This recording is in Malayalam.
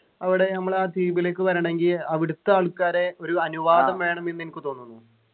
അവിടെ നമ്മൾ ആ ദ്വീപിലേക്ക് വരണെങ്കിൽ അവിടെത്തെ ആൾക്കാരെ ഒരു അനുവാദം വേണമെന്നു എനിക്ക് തോന്നുന്നു